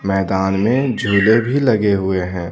मैदान में झूले भी लगे हुए हैं।